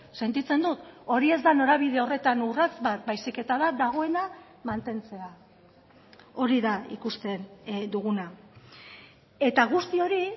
sentitzen dut hori ez da norabide horretan urrats bat baizik eta da dagoena mantentzea hori da ikusten duguna eta guzti hori